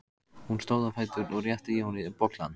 Hún stóð á fætur og rétti Jóni bollann.